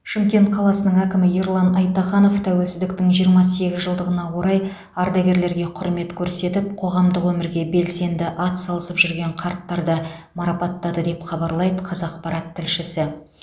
шымкент қаласының әкімі ерлан айтаханов тәуелсіздіктің жиырма сегіз жылдығына орай ардагерлерге құрмет көрсетіп қоғамдық өмірге белсенді атсалысып жүрген қарттарды марапаттады деп хабарлайды қазақпарат тілшісі